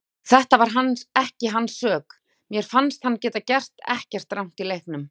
Þetta var ekki hans sök, mér fannst hann hafa gert ekkert rangt í leiknum.